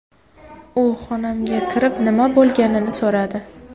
U xonamga kirib, nima bo‘lganini so‘radi.